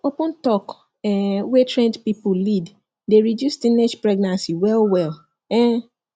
open talk um wey trained people lead dey reduce teenage pregnancy well well um